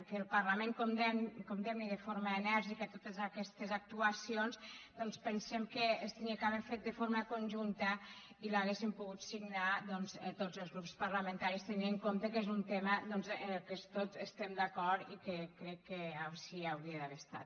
que el parlament condemni de forma enèrgica totes aquestes actuacions doncs pensem que s’hauria d’haver fet de forma conjunta i l’hauríem pogut signar tots els grups parlamentaris tenint en compte que és un tema en què tots estem d’acord i crec que així hauria d’haver estat